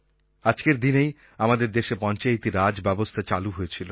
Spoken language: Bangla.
আজকের দিনেই আমাদের দেশে পঞ্চায়েতি রাজ ব্যবস্থা চালু হয়েছিল